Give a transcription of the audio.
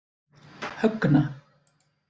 Högna